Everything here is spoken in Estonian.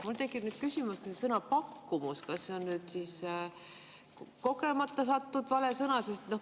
Mul tekib nüüd küsimus, kas see sõna "pakkumus" on siia kogemata sattunud vale sõna.